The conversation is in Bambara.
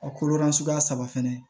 A kolo la suguya saba fɛnɛ